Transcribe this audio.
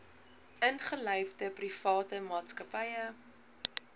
ingelyfde private maatskappye